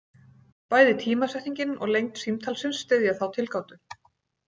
Bæði tímasetningin og lengd símtalsins styðja þá tilgátu.